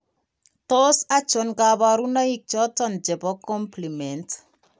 Tos achon kabarunaik choton chebo Complement ?